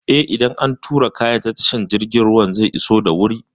Eh, idan an turo kayan ta tashar jirgin ruwa zai iso da wuri.